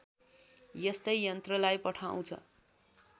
यस्तै यन्त्रलाई पठाउँछ